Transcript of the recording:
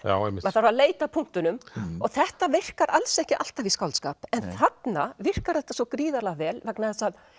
maður þarf að leita að punktunum og þetta virkar alls ekki alltaf í skáldskap en þarna virkar þetta svo gríðarlega vel vegna þess að